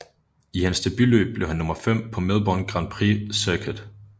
I hans debutløb blev han nummer 5 på Melbourne Grand Prix Circuit